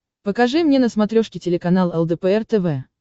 покажи мне на смотрешке телеканал лдпр тв